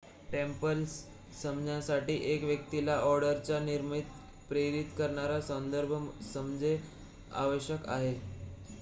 Templars समजण्यासाठी 1 व्यक्तीला ऑर्डरच्या निर्मितीला प्रेरित करणारा संदर्भ समजणे आवश्यक आहे